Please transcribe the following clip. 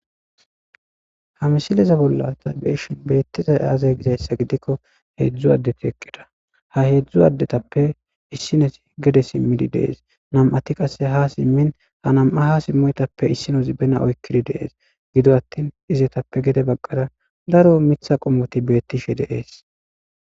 Ha misileza bollan ta be'ishen betizay aze gizaysa gidikko hedzu asati eqida ha hedzu adetappe issinez gede simidi des nam'ati qase ha simin ha nam'a ha simoytappe issinozi bena oykidi de'ese gido attin izetappe gede bagara daro mitha qommoti betishe de'ese